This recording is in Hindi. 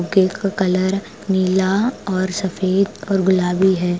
केक का कलर नीला और सफेद और गुलाबी है।